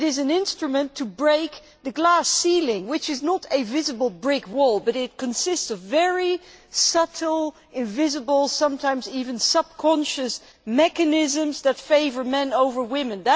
This is an instrument to break the glass ceiling, which is not a visible brick wall but consists of very subtle, invisible, sometimes even subconscious mechanisms that favour men over women.